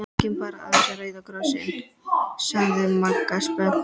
Kíkjum bara aðeins á Rauða Kross- inn sagði Magga spennt.